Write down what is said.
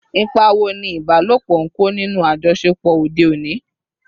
Ipa wo ni ìbálòpọ̀ ń kó nínú àjọṣepọ̀ òde òní?